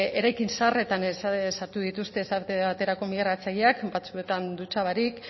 eraikin zaharretan sartu dituzte esate baterako migratzaileak batzuetan dutxa barik